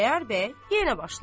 Xudayar bəy yenə başladı.